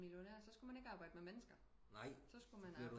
Millionær så skulle man ikke arbejde med mennesker så skulle man arbejde med